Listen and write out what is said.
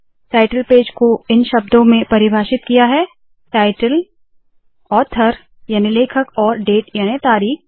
title page को इन शब्दों में परिभाषित किया है टाइटल ऑथर याने लेखक और डेट याने तारीख